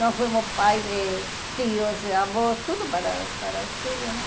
Nós fomos pais, e tios, avós, tudo para para os filhos, né?